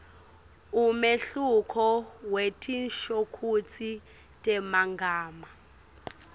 umehluko wetinshokutsi temagama